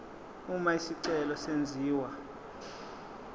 uma isicelo senziwa